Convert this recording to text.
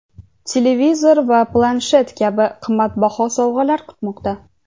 televizor va planshet kabi qimmatbaho sovg‘alar kutmoqda.